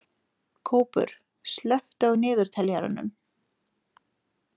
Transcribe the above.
Kópur, slökktu á niðurteljaranum.